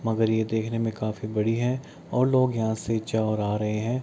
मगर ये देखने में काफी बड़ी है और लोग यहाँ से च और आ रहे हैं।